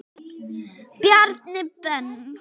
Bjarni Ben.